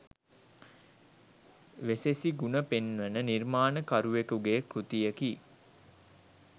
වෙසෙසි ගුණ පෙන්වන නිර්මාණකරුවකුගේ කෘතියකි